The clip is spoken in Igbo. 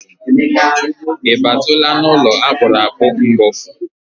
Ị batala n'ụlọ akpụrụ akpụ mbụ?